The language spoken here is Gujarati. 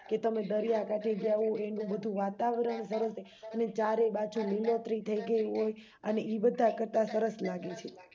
કે તમે દરિયાકાંઠે ગયા હોવ એનું બધું વાતાવરણ સરસ હે અને ચારે બાજુ લીલોત્રી થઈ ગઈ હોય અને ઈબધા કરતા સરસ લાગે છે